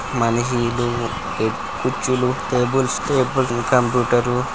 మనిహిలు కుర్చీలు tables table computer .